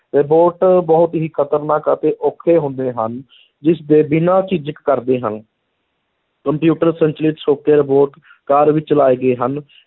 Robot ਬਹੁਤ ਹੀ ਖ਼ਤਰਨਾਕ ਅਤੇ ਔਖੇ ਹੁੰਦੇ ਹਨ ਜਿਸਦੇ ਬਿਨਾਂ ਝਿਜਕ ਕਰਦੇ ਹਨ ਕੰਪਿਊਟਰ ਸੰਚਾਲਿਤ ਛੋਟੇ robot ਕਾਰ ਵਿੱਚ ਲਾਏ ਗਏ ਹਨ